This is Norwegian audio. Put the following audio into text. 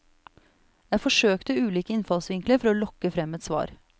Jeg forsøkte ulike innfallsvinkler for å lokke frem et svar.